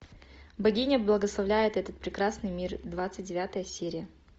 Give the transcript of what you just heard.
богиня благословляет этот прекрасный мир двадцать девятая серия